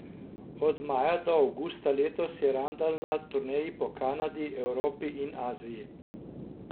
Od maja do avgusta letos je Randal na turneji po Kanadi, Evropi in Aziji.